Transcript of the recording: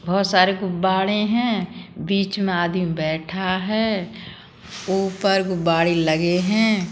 बोहोत सारे गुब्बारे हैं बीच में आदमी बैठा है ऊपर गुब्बारे लगे हैं।